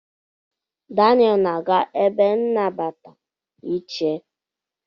Dan na-aga ebe nnabata ị che.